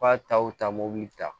K'a taw ta mobili ta